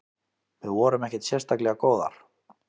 Við vorum ekkert sérstaklega góðar.